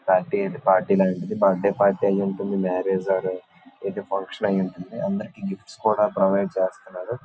Party ఐతే party లాగా birthday party ఐ ఉంటుంది .మ్యారేజ్ ఒర్ ఏదో ఫంక్షన్ అయి ఉంటుంది.అందరికి గిఫ్ట్స్ కూడా ప్రొవైడ్ చేస్తూనారు.